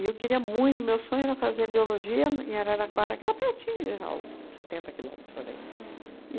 E eu queria muito, meu sonho era fazer biologia em Araraquara, que era pertinho de Jaú, setenta quilômetros por aí. Uhum.